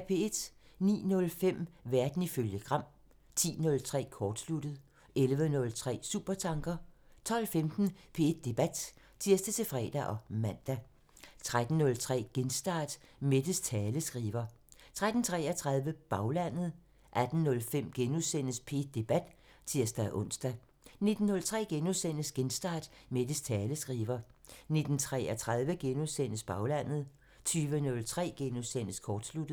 09:05: Verden ifølge Gram (tir) 10:03: Kortsluttet (tir) 11:03: Supertanker (tir) 12:15: P1 Debat (tir-fre og man) 13:03: Genstart: Mettes taleskriver 13:33: Baglandet (tir) 18:05: P1 Debat *(tir-ons) 19:03: Genstart: Mettes taleskriver * 19:33: Baglandet *(tir) 20:03: Kortsluttet *(tir)